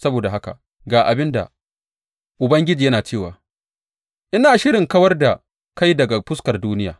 Saboda haka, ga abin da Ubangiji yana cewa, Ina shirin kawar da kai daga fuskar duniya.